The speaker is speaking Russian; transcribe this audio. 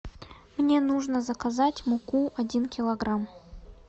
мне нужно заказать муку один килограмм